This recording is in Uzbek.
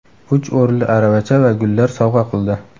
Uch o‘rinli aravacha va gullar sovg‘a qildi.